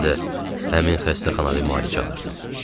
Mən də həmin xəstəxanada müalicə alırdım.